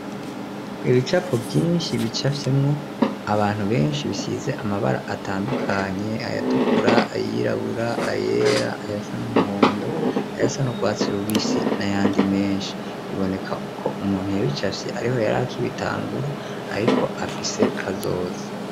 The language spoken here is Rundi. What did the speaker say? Ibicapo vyinshi bicafyemwo abantu benshi bisize amabara atandukanye ayatukura, ayirabura, ayera, ayasa n'umuhondo ayasa n'urwatse rubisi n'ayandi menshi bibonekako umuntu yabicafye ariho yari akibitangura ariko afise kazoza.